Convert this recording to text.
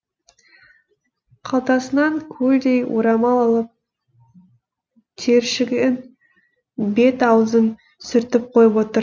қалтасынан көлдей орамал алып тершіген бет аузын сүртіп қойып отыр